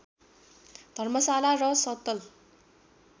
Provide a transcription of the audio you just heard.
धर्मशाला र सतल